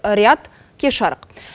риат кеш жарық